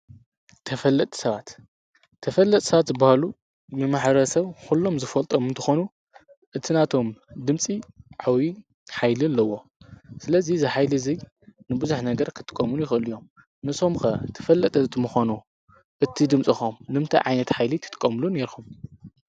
ተፈለጥ ሰባት፣ ተፈለጥ ሰባት ዝበሃሉ ንማሕረሰብ ዂሎም ዝፈልጦም እንተኾኑ እቲ ናቶም ድምፂ ዓበይ ኃይሊ ኣለዎ። ስለዙይ እዚ ኃይሊ እዘይ ንብዙኅ ነገር ክትቆምሉ ይኸሉ እዮም። ንስኩም ከ ተፈለጠቲ ተተኮኑ እቲ ድምጽኩም ንምንታይ ዓይነት ኃይሊ ክትጥቀምሉ ነይርኹም?